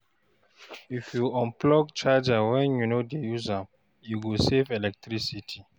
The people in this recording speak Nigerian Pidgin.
If you unplug charger when you no dey use am, e go save electricity